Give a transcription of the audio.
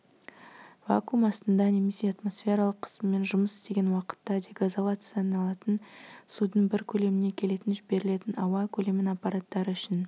вакуум астында немесе атмосфералық қысыммен жұмыс істеген уақытта дегазацияланатын судың бір көлеміне келетін жіберілетін ауа көлемін аппараттар үшін